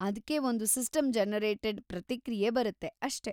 ಅದ್ಕೆ ಒಂದು ಸಿಸ್ಟಮ್‌-ಜನರೇಟೆಡ್‌ ಪ್ರತಿಕ್ರಿಯೆ ಬರುತ್ತೆ ಅಷ್ಟೇ.